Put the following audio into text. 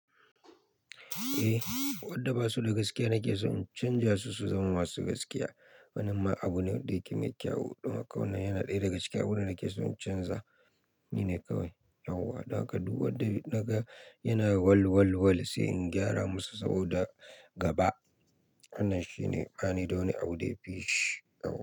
Eh, waɗɗa ba su da gaskiya nake so in canja su su zama masu gaskiya. Wannan ma abu ne da yake mai kyau. Don haka wannan yana ɗaya daga cikin abubuwan da nake so in canza. Shine kawai. Yauwa. Dan haka duk wadda naga yana wal wal wal sai in gyara musu saboda gaba. Hannan shi ne, bani da wani abu da ya fi shi. Yauwa.